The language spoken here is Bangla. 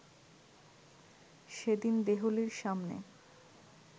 সেদিন ‘দেহলী’-র সামনে